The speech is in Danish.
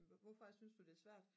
hvorfor synes du der er svært